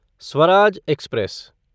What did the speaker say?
Swaraj express